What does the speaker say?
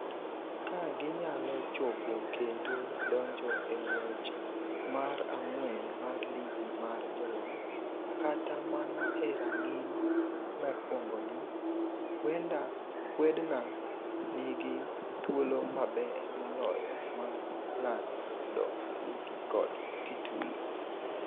Ka ginyalo chopo kendo donjo e ng’wech mar ang’wen mar Ligi mar Jolony, kata mana e rang’iny mokwongoni, huedna nigi thuolo maber moloyo mar ng’ado ligi kod titulo.